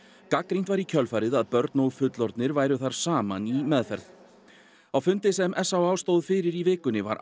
gagnrýnt var í kjölfarið að börn og fullorðnir væru þar saman í meðferð á fundi sem s á á stóð fyrir í vikunni var